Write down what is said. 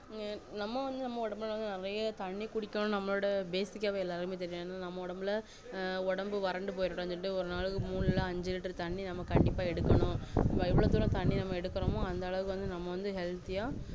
நம்ம வந்து நம்மல ஒடம்புல நெறைய தண்ணி குடிக்கணும் நம்மளோட basic ஆவே எல்லாருக்கும் நம்ம ஒடம்புல ஆஹ் ஒடம்பு வறண்டு போய்ரகூடாதுனு சொல்லி ஒரு நாளைக்கு மூணு இல்ல அஞ்சு liter தண்ணி நம்ம கண்டிப்பா எடுக்கணும் எவ்ளோ தண்ணி எடுக்குரோமோ அந்த அளவுக்க healthy ஆ